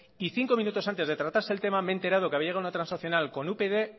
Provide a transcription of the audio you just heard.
y cinco minutos antes de tratarse el tema me he enterado que había llegado una transaccional con upyd